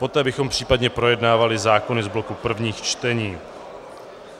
Poté bychom případně projednávali zákony z bloku prvních čtení.